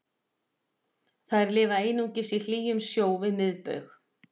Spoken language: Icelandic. þær lifa einungis í hlýjum sjó við miðbaug